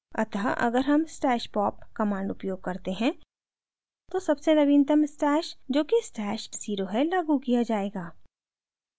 अतः अगर हम stash pop command उपयोग करते हैं तो सबसे नवीनतम stash जोकि stash @{0} है लागू किया जायेगा